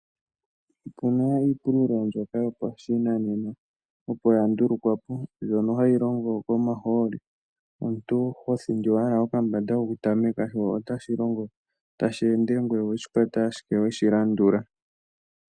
Opuna iipululo mbyoka yopashinanena opo yandulukwa po, mbyono hayi longo komahooli, omuntu hothindi owala okambande kokutameka sho otashi longo tashi ende ngoye oweshikwata ashike weshilandula.